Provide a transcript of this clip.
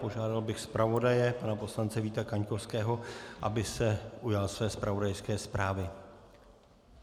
Požádal bych zpravodaje, pana poslance Víta Kaňkovského, aby se ujal své zpravodajské zprávy.